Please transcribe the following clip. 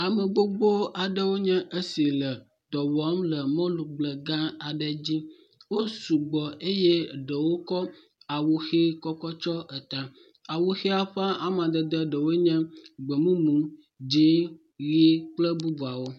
Ame gbogbo aɖewo nye esi le dɔ wɔm le mɔligble gã aɖe dzi. Wosu gbɔ eye ɖewo tsɔ awu ʋi kɔ tsɔ ta. Awu ƒe amadede ɖewo nye gbemumu, dzɛ̃, ʋi kple bubuawo.